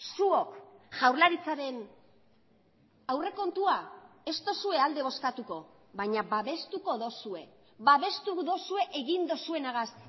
zuok jaurlaritzaren aurrekontua ez duzue alde bozkatuko baina babestuko duzue babestu duzue egin duzuenagaz